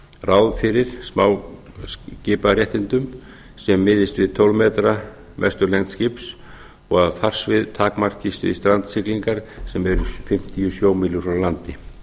ráð fyrir smáskiparéttindum sem miðist við tólf metra mestu lengd skips og að farsvið takmarkist við strandsiglingar sem eru gera en fimmtíu sjómílur frá landi